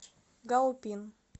гаопин